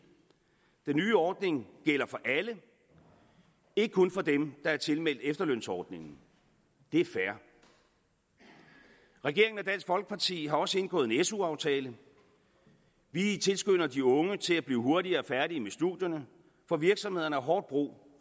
den nye ordning gælder for alle ikke kun for dem der er tilmeldt efterlønsordningen det er fair regeringen og dansk folkeparti har også indgået en su aftale vi tilskynder de unge til at blive hurtigere færdige med studierne for virksomhederne har hårdt brug